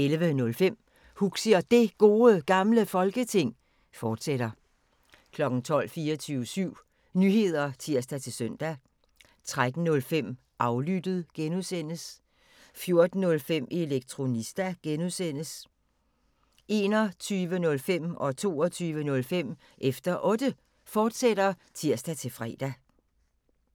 11:05: Huxi og Det Gode Gamle Folketing, fortsat 12:00: 24syv Nyheder (tir-søn) 13:05: Aflyttet (G) 14:05: Elektronista (G) 21:05: Efter Otte, fortsat (tir-fre) 22:05: Efter Otte, fortsat (tir-fre)